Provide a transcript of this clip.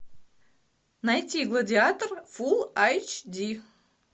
найти гладиатор фул айч ди